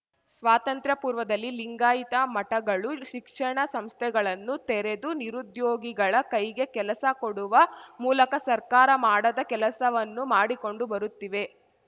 ಸ್ವಾತಂತ್ರ್ಯ ಪೂರ್ವದಲ್ಲಿ ಲಿಂಗಾಯಿತ ಮಠಗಳು ಶಿಕ್ಷಣ ಸಂಸ್ಥೆಗಳನ್ನು ತೆರೆದು ನಿರುದ್ಯೋಗಿಗಳ ಕೈಗೆ ಕೆಲಸ ಕೊಡುವ ಮೂಲಕ ಸರ್ಕಾರ ಮಾಡದ ಕೆಲಸವನ್ನು ಮಾಡಿಕೊಂಡು ಬರುತ್ತಿವೆ